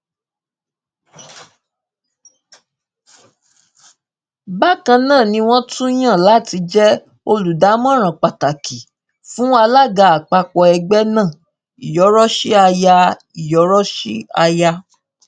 bákan náà ni wọn tún yàn án láti jẹ olùdámọràn pàtàkì fún alága àpapọ ẹgbẹ náà iyoroshi aya iyoroshi aya